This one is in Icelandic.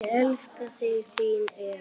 Ég elska þig, þín Eva.